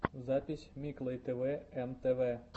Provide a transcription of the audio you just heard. запись миклой тэвэ эм тэ вэ